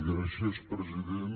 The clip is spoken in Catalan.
gràcies president